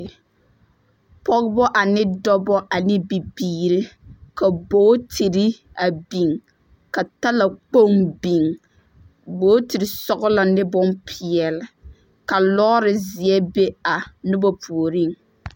Pͻgebͻ ane dͻbͻ ane bibiiri, ka bootiri a biŋ, ka talakpoŋ biŋ. Bootiri sͻgelͻ ne bompeԑle, ka lͻͻre zeԑ be a noba puoriŋ.